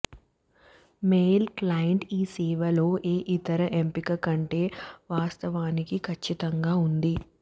mail client ఈ సేవ లో ఏ ఇతర ఎంపిక కంటే వాస్తవానికి ఖచ్చితంగా ఉంది